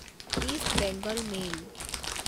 east Bengal mail